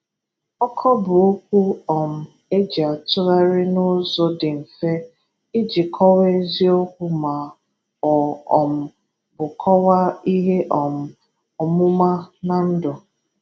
Ọkọ bụ okwu um e ji atụgharị n’ụzọ dị mfe ịjị kọwaa eziokwu ma ọ um bụ kọwaa ihe um ọmụma na ndụ.